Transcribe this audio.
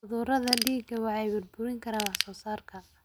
Cudurada digaaga waxay burburin karaan wax soo saarka.